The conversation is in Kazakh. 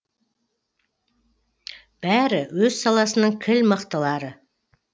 бәрі өз саласының кіл мықтылары